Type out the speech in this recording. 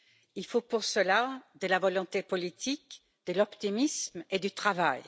Il faut pour cela de la volonté politique, de l'optimisme et du travail.